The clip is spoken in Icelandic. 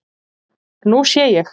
Nú sé ég.